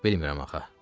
Bilmirəm axı.